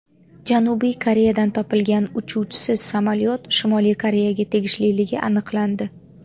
Janubiy Koreyada topilgan uchuvchisiz samolyot Shimoliy Koreyaga tegishliligi aniqlandi.